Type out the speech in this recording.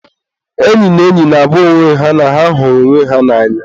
enyi na enyi na-agwa onwe ha na ha hụrụ onwe ha n'anya.